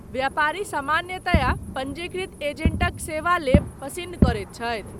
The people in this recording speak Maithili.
व्यापारी सामान्यतया पञ्जीकृत एजेंटक सेवा लेब पसिन्न करैत छथि।